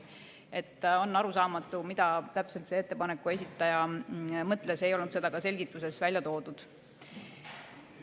Seega on arusaamatu, mida täpselt ettepaneku esitaja mõtles, seda ei olnud ka selgituses välja toodud.